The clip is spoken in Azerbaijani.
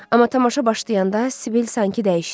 Amma tamaşa başlayanda Sibil sanki dəyişdi.